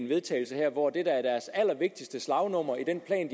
vedtagelse her hvor det der er deres allervigtigste slagnummer i den plan